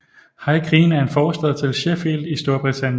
High Green er en forstad til Sheffield i Storbritannien